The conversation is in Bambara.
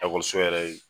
Ekɔliso yɛrɛ